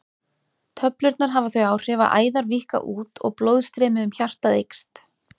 Töflurnar hafa þau áhrif að æðar víkka út og blóðstreymi um hjartað eykst.